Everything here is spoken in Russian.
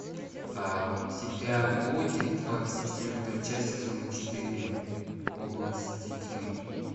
у тебя будет двадцать четвертая часть сезона четыре области тьмы